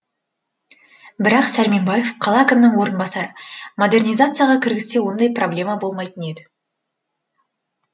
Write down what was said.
бірақ сәрменбаев қала әкімінің орынбасары модернизацияға кіргізсе ондай проблема болмайтын еді